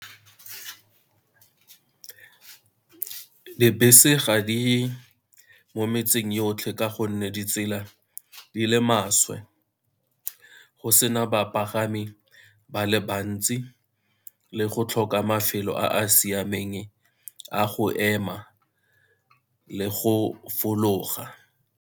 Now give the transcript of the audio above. Dibese ga di mo metseng yotlhe ka gonne ditsela di le maswe, go sena bapagami ba le bantsi, le go tlhoka mafelo a a siameng a go ema le go fologa.